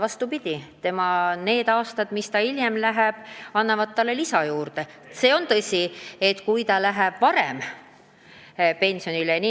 Vastupidi, nendel aastatel teenitud raha ja staaž annavad hiljem suurema pensioni.